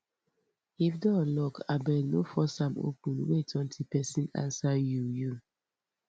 if door lock abeg no force am open wait until pesin answer you you